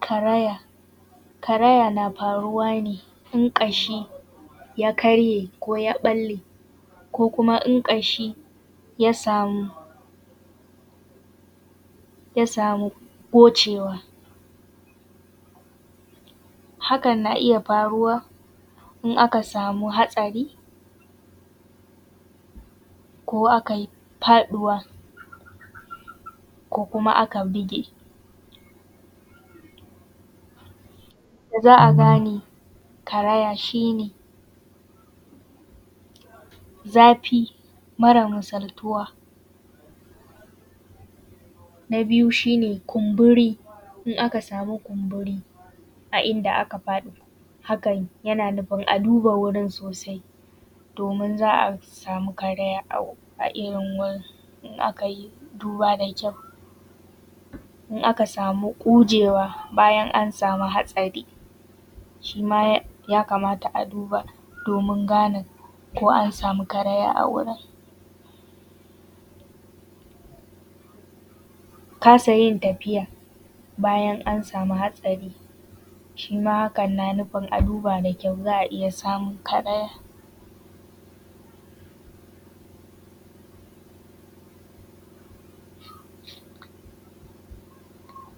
Karaya. Karaya na faruwa ne in ƙashi ya karye ko ya ɓalle ko kuma in ƙashi ya samu gocewa. Hakan na iya faruwa, in aka samu hatsari, ko aka yi faɗuwa, ko kuma aka bige. Yadda za a gane karaya shi ne, zafi mara misaltuwa, na biyu shi ne kumburi, in aka samu kumburi, a inda aka faɗi hakan yana nufin a duba wurin sosai, domin za a samu karaya a irin wurin in aka yi duba da kyau. In aka samu ƙujewa bayan an samu hatsari, shi ma ya kamata a duba domin gane ko an samu karaya a wurin. Kasa yin tafiya bayan an samu hatsari, shima hakan na nufin a duba da kyau za a iya samun karaya.